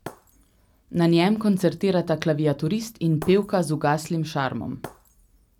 Na njem koncertirata klaviaturist in pevka z ugaslim šarmom.